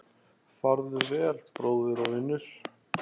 Farðu vel, bróðir og vinur.